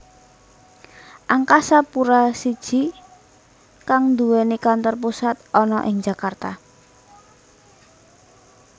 Angkasa Pura I kang nduwèni kantor pusat ana ing Jakarta